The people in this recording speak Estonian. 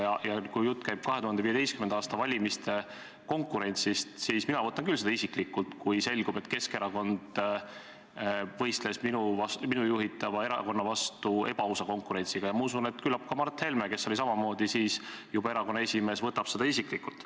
Ja kui jutt käib konkurentsist 2015. aasta valimistel, siis mina võtan küll seda isiklikult, kui selgub, et Keskerakond võistles minu juhitava erakonnaga ebaausa konkurentsi abil, ja ma usun, et küllap ka Mart Helme, kes oli samamoodi siis juba erakonna esimees, võtab seda isiklikult.